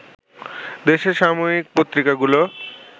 দেশের সাময়িক পত্রিকাগুলো